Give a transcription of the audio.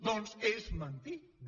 doncs és mentida